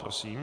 Prosím.